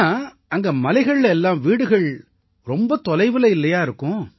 ஆனா அங்க மலைகள்ல எல்லாம் வீடுகள் ரொம்ப தொலைவுல இல்லையா இருக்கும்